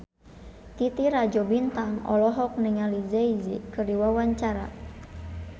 Titi Rajo Bintang olohok ningali Jay Z keur diwawancara